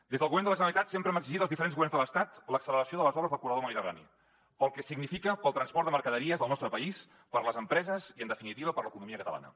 des del govern de la generalitat sempre hem exigit als diferents governs de l’estat l’acceleració de les obres del corredor mediterrani pel que significa per al transport de mercaderies al nostre país per les empreses i en definitiva per l’economia catalana